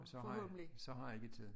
Så har så har jeg ikke tid